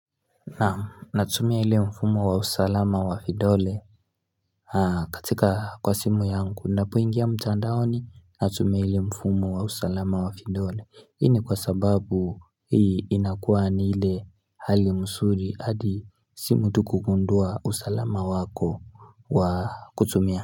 Naam natumia ile mfumo wa usalama wa vidole katika kwa simu yangu. Napoingia mtandaoni, natumia ile mfumo wa usalama wa vidole, hii ni kwa sababu hii inakuwa ni ile hali mzuri hadi si mtu kugundua usalama wako wa kutumia.